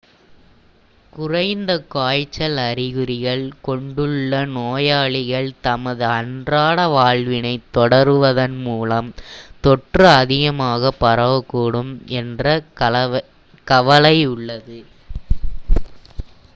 குறைந்த காய்ச்சல் அறிகுறிகள் கொண்டுள்ள நோயாளிகள் தமது அன்றாட வாழ்வினை தொடருவதன் மூலம் தொற்று அதிகமாக பரவக்கூடும் என்ற கவலையுள்ளது